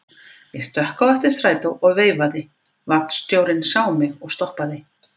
Ég stökk á eftir strætó og veifaði, vagnstjórinn sá mig og stoppaði.